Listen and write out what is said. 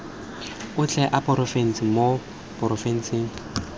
otlhe a porofense mo porofenseng